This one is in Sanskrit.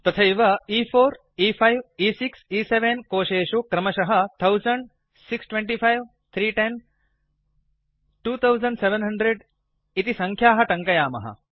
तथैव e4e5ए6 E7 कोशेषु क्रमशः 1000625310 2700 इति संख्याः ट्ङ्कयामः